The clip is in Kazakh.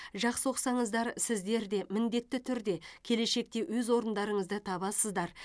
жақсы оқысаңыздар сіздер де міндетті түрде келешекте өз орындарыңызды табасыздар